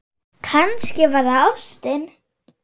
Kannski var það ástin.